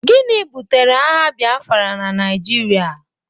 Gịnị butere agha Biafra na Naijiria?